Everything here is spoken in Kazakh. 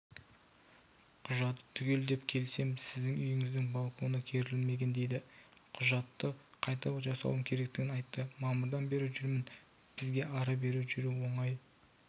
құжаты түгел деп келсем сіздің үйіңіздің балконы кірілмеген дейді құжайтты қайта жасауым керектігін айтты мамырдан бері жүрмін бізге ары-бері жүру оңай